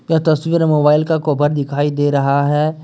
यह तस्वीर मोबाइल का कवर दिखाई दे रहा है।